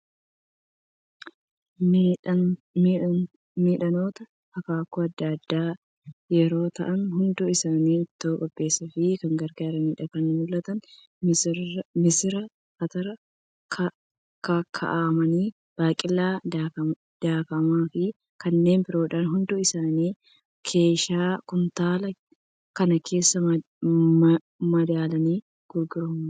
Midhaanota akaakuu adda addaa yeroo ta'an. hundi isaanii ittoo qopheessuuf kan gargaaranidha. Kan mul'atan missira, atara kaakka'amaa, baaqelaa daakamaa fi kanneen biroodha. Hundi isaanii keeshaa kuntaala kana keessaa madaalaan gurguramu.